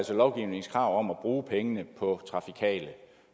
lovgivningens krav om at bruge pengene på trafikale